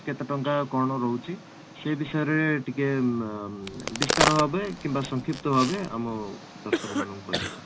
କେତେ ଟଙ୍କା କ'ଣ ରହୁଛି ସେଇ ବିଷୟରେ ଟିକେ ଉମ ବିସ୍ତାର ଭାବେ କିମ୍ବା ସଂକ୍ଷିପ୍ତ ଭାବେ ଆମ ଦର୍ଶନ ମାନଙ୍କୁ କହିବେ sir